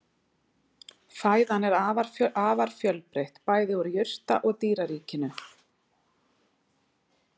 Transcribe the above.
Fæðan er afar fjölbreytt, bæði úr jurta- og dýraríkinu.